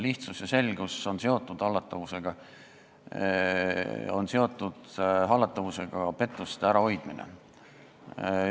Lihtsus ja selgus on hallatavusega seotud, hallatavusega on seotud ka pettuste ärahoidmine.